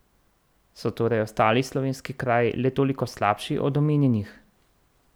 So torej ostali slovenski kraji le toliko slabši od omenjenih?